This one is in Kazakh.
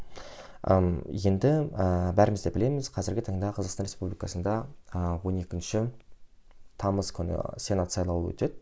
ыыы енді ііі бәріміз де білеміз қазіргі таңда қазақстан республикасында ы он екінші тамыз күні сенат сайлауы өтеді